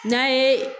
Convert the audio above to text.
N'an ye